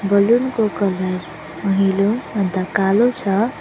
Balloon को colour पहिलो अन्त कालो छ।